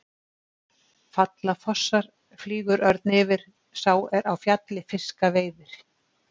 Falla fossar, flýgur örn yfir, sá er á fjalli fiska veiðir.